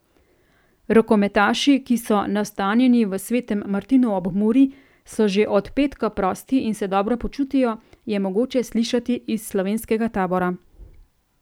Rokometaši, ki so nastanjeni v Svetem Martinu ob Muri, so že od petka prosti in se dobro počutijo, je mogoče slišati iz slovenskega tabora.